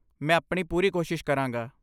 ਮੈਂ ਆਪਣੀ ਪੂਰੀ ਕੋਸ਼ਿਸ਼ ਕਰਾਂਗਾ।